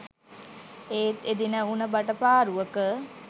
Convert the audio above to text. ඒත් එදින උණ බට පාරුවක